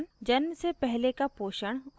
जन्म से पहले का पोषण और आहार